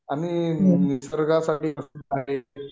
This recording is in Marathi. आणि निसर्गासाठी प्रसिद्ध आहे